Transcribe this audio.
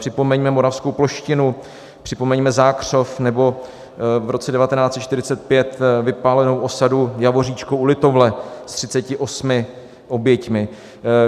Připomeňme moravskou Ploštinu, připomeňte Zákřov nebo v roce 1945 vypálenou osadu Javoříčko u Litovle s 38 oběťmi.